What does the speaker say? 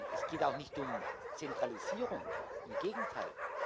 Es geht auch nicht um Zentralisierung, im Gegenteil!